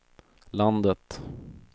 landet